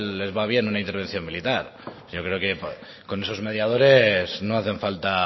les va bien una intervención militar yo creo que con esos mediadores no hacen falta